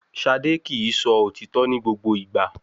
Ṣadé kì í sọ òtítọ́ ní gbogbo ìgbà